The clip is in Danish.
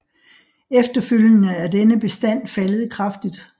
Efterfølgende er denne bestand faldet kraftigt